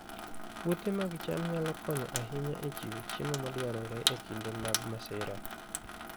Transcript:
Puothe mag cham nyalo konyo ahinya e chiwo chiemo madwarore e kinde mag masira